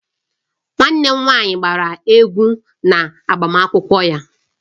Nwanne m nwanyị gbara egwu na agbamakwụkwọ ya